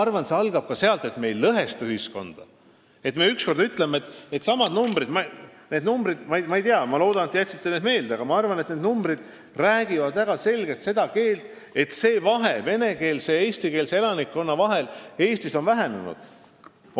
Ja see algab sellestki, kui me ei lõhesta ühiskonda ja ütleme ükskord välja, et numbrid – ma loodan, et te jätsite need meelde – räägivad väga selgelt seda keelt, et usalduse vahe venekeelse ja eestikeelse elanikkonna vahel on Eestis vähenenud.